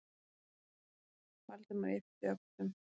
Valdimar yppti öxlum.